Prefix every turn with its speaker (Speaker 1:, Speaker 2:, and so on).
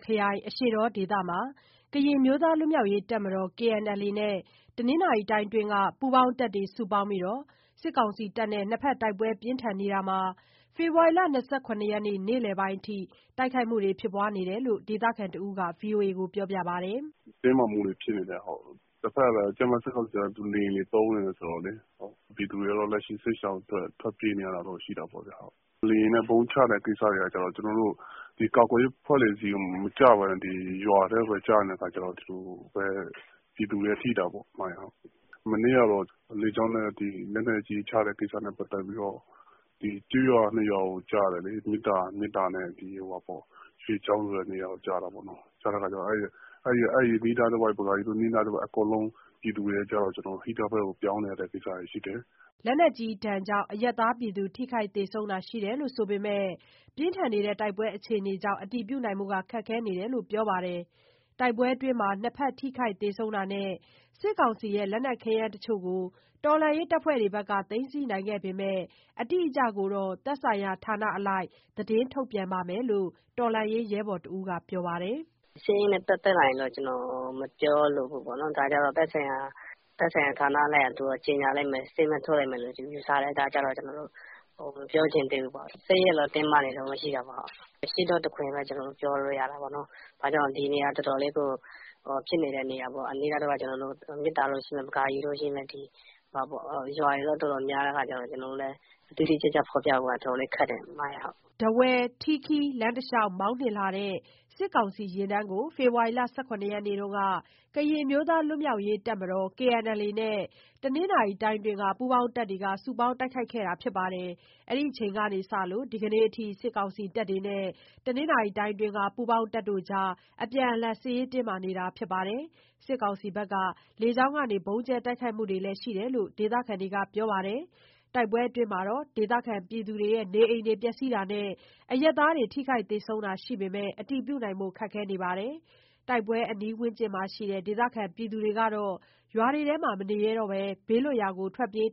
Speaker 1: ခရိုင်၊ အရှေ့တောဒေသမှာ ကရင်အမျိုးသား လွတ်မြောက်ရေးတပ်မတော် KNLA နဲ့ တနင်္သာရီတိုင်းအတွင်းက ပူးပေါင်းတပ်တွေ စုပေါင်းပြီး စစ်ကောင်စီနဲ့ တိုက်ပွဲပြင်းထန်နေတာ ဒီကနေ့ ဖေဖော်ဝါရီလ ၂၇ ရက်နေ့ နေ့လည်ပိုင်းအထိ ဖြစ်နေတယ်လို့ ဒေသခံတဦးက ပြောပါတယ်။
Speaker 2: "စစ်ရေးတင်းမာမှုတွေ ဖြစ်နေတုန်းပဲ။ စစ်ကောင်စီဘက်ကလည်း လေယာဉ်တွေသုံးနေတယ် ဆိုတော့လေ။ ပြည်သူတွေကတော့ လက်ရှိစစ်ရှောင် ထွက်ပြေးနေရတာပေါ့။ လေယာဉ်နဲ့ ဗုံးချတဲ့ကိစ္စတွေက ကာကွယ်ရေးအဖွဲ့တွေဆီကို မကျဘဲနဲ့ ရွာထဲကိုပဲ ကျနေတဲ့အခါကျတော့ ပြည်သူတွေထိတာပေါ့။ မနေ့ကတော့ လေကြောင်းနဲ့ လက်နက်ကြီးချတဲ့ ကိစ္စနဲ့ပတ်သက်ပြီးတော့ ကျေးရွာ ၂ ရွာကို ကျတယ်လေ။ မေတ္တာနဲ့ ရွှေချောင်းဆိုတဲ့ နေရာကို ကျတာပေါ့နော်။ အဲဒီအနီးအနားတဝိုက် ပကာရီအနီးတဝိုက် ပြည်သူတွေအကုန်လုံး ဟိန္ဒားဘက်ကို ပြောင်းနေရတဲ့ အနေအထားရှိတယ်။
Speaker 1: " လက်နက်ကြီးဒဏ်ကြောင့် အရပ်သားထိခိုက် သေဆုံးတာရှိတယ် ဆိုပေမယ့် တိုက်ပွဲအခြေအနေကြောင့် အတည်ပြုနိုင်ဖို့ ခက်ခဲနေတယ်လို့ ပြောပါတယ်။ တိုက်ပွဲအတွင်းမှာ နှစ်ဘက်ထိခိုက် သေဆုံးတာနဲ့ စစ်ကောင်စီရဲ့ လက်နက်ခဲယမ်းတချို့ကို တော်လှန်ရေးအဖွဲ့တွေဘက်က သိမ်းဆည်းနိုင်ခဲ့ပေမယ့် အတိအကျကိုတော့ သက်ဆိုင်ရာဌာနအလိုက် ထုတ်ပြန်လိမ့်မယ်လို့ တော်လှန်ရေးရဲဘော်တဦးက ပြောပါတယ်။
Speaker 3: "စစ်ရေးနဲ့ပတ်သက်ပြီး ကျနော်မပြောလိုဘူး။ ဒါကျတော့ သက်ဆိုင်ရာဌာနအလိုက်က ကြေငြာချက်ထုတ်လိမ့်မယ်လို့ ကျနော်ယူဆတယ်။ အဲဒါကြောင့်မို့ မပြောချင်ဘူးပေါ့။ စစ်ရေးကတော့ တင်းမာနေတုန်းပဲ ရှိသေးတယ်။ ဖြစ်နေတာက အရှေ့တောတခွင်လို့ ပြောလို့ရတာပေါ့။ ဘာကြောင့်လဲဆို ဒီနေရာက တော်တော်လေးကို ဖြစ်နေတဲ့နေရာပေါ့။ အနီးတဝိုက်က မေတ္တာ၊ ပကာရီ၊ ရွာတွေက တော်တော်များတဲ့ အခါကျတော့ ကျနော်တို့လည်း တိတိကျကျ ဖော်ပြဖို့က တော်တော်လေးခက်တယ်။"
Speaker 1: ထားဝယ်-ထီးခီး လမ်းတလျှောက် မောင်းနှင်းလာတဲ့ စစ်ကောင်စီယာဉ်တန်းကို ဖေဖော်ဝါရီလ ၁၇ ရက်နေ့တုန်းက ကရင်အမျိုးသား လွတ်မြောက်ရေးတပ်မတော် KNLA နဲ့ တနင်္သာရီတိုင်းအတွင်းက ပူပေါင်းတပ်တွေ စုပေါင်းတိုက်ခိုက်ခဲ့တယ်လို့ သိရပါတယ်။ အဲဒီအချိန်ကစပြီး ဒီကနေ့အထိ အပြန်အလှန် စစ်ရေးတင်းမာနေတာပါ။ စစ်ကောင်စီဘက်က လေကြောင်းနဲ့ ဗုံးကြဲတိုက်ခိုက်တာတွေလည်း ရှိနေတယ်လို့ ဒေသခံတွေက ပြောပါတယ်။ တိုက်ပွဲအတွင်းမှာ ဒေသခံနေအိမ်တွေ ပျက်စီးတာနဲ့ အရပ်သားထိခိုက် သေဆုံးတာတွေရှိပေမယ့် အတည်ပြုနိုင်ဖို့ ခက်ခဲနေပါတယ်။ တိုက်ပွဲအနီးဝန်းကျင်မှာရှိတဲ့ ဒေသခံတွေကတော့ ရွာတွေထဲမနေရဲတော့ဘဲ ဘေးလွတ်ရာဆီ ထွက်ပြေး